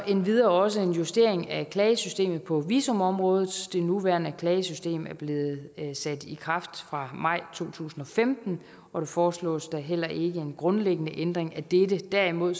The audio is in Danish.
endvidere også en justering af klagesystemet på visumområdet det nuværende klagesystem er blevet sat i kraft fra maj to tusind og femten og der foreslås da heller ikke en grundlæggende ændring af dette derimod